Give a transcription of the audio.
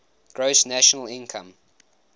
gross national income